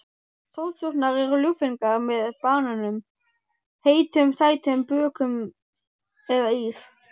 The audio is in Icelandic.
Sósurnar eru ljúffengar með banönum, heitum sætum bökum eða ís.